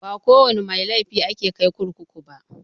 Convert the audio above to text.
Ba kowana mai laifi ake kai kurkuku ba.